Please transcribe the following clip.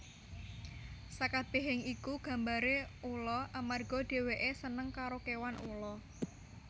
Sakabehing iku gambare ula amarga dheweke seneng karo kewan ula